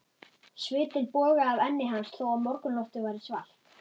Svitinn bogaði af enni hans þó að morgunloftið væri svalt.